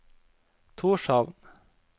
Tórshavn